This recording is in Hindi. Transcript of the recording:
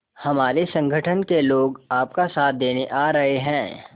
हमारे संगठन के लोग आपका साथ देने आ रहे हैं